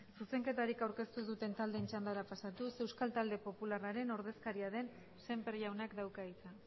zuzenketarik aurkeztu ez duten taldeen txandara pasatuz euskal talde popularraren ordezkaria den sémper jaunak dauka hitza